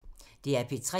DR P3